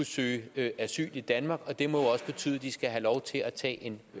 søge asyl i danmark det må jo også betyde at de skal have lov til at tage en